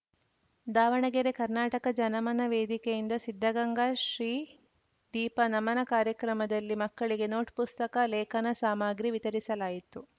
ದಾವಣಗೆರೆ ಕರ್ನಾಟಕ ಜನಮನ ವೇದಿಕೆಯಿಂದ ಸಿದ್ಧಗಂಗಾ ಶ್ರೀ ದೀಪ ನಮನ ಕಾರ್ಯಕ್ರಮದಲ್ಲಿ ಮಕ್ಕಳಿಗೆ ನೋಟ್‌ ಪುಸ್ತಕ ಲೇಖನ ಸಾಮಗ್ರಿ ವಿತರಿಸಲಾಯಿತು